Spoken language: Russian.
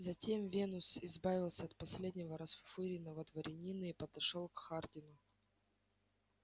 затем венус избавился от последнего расфуфыренного дворянина и подошёл к хардину